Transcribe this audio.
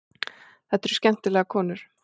Þetta eru skemmtilegar konur.